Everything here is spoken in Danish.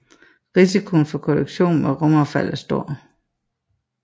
Risikoen for kollision med rumaffald er stor